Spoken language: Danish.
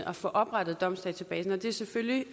at få oprettet domsdatabasen og det er selvfølgelig